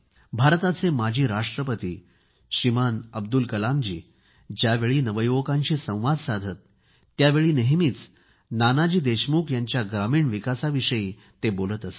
भारताचे माजी राष्ट्रपती श्रीमान अब्दुल कलामजी ज्यावेळी नवयुवकांशी संवाद साधत होते त्यावेळी नेहमीच नानाजी देशमुख यांच्या ग्रामीण विकासाविषयी बोलत असत